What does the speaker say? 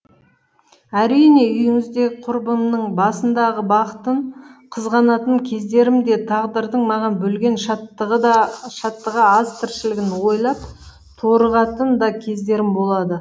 әрине үйіңіздегі құрбымның басындағы бақытын қызғанатын кездерім де тағдырдың маған бөлген шаттығы аз тіршілігін ойлап торығатын да кездерім болады